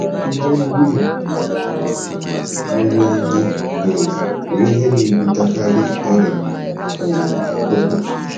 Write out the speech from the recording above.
Ihe ndina ruru unyi um bụ ihe na-ebutekarị ọrịa um akpụkpọ.